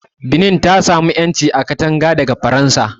Benin ta sami ƴanci a kanta daga Faransa